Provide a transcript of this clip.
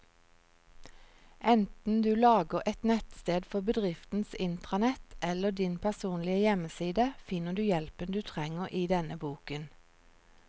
Enten du lager et nettsted for bedriftens intranett eller din personlige hjemmeside, finner du hjelpen du trenger i denne boken.